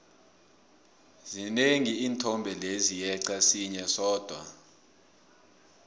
zinengi iinthombe lezi yeqa sinye sodwa